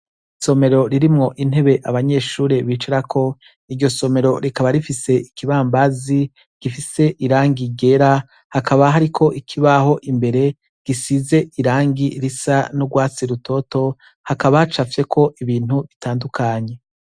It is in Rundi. Isomero ririmwo intebe abanyeshuri bicarako,, iryo somero rikaba rifise ibibambazi gifise irangi ryera, hakaba hariko ikibaho imbere, gifise irangi risa n'urwatsi rutoto. Hakaba hacafyeko ibintu bitandukanye.